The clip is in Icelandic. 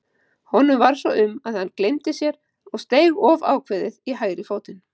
Honum varð svo um að hann gleymdi sér og steig of ákveðið í hægri fótinn.